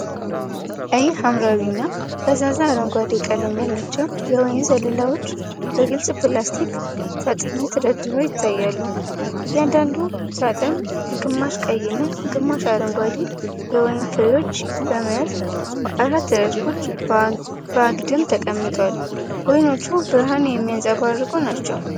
ቀይ-ሐምራዊ እና ፈዛዛ አረንጓዴ ቀለም ያላቸው የወይን ዘለላዎች በግልጽ ፕላስቲክ ሳጥኖች ተደርድረው ይታያሉ። እያንዳንዱ ሳጥን ግማሽ ቀይ እና ግማሽ አረንጓዴ የወይን ፍሬዎችን በመያዝ፣ በአራት ረድፎች በአግድም ተቀምጧል። ወይኖቹ ብርሃን የሚያንጸባርቁ ናቸው።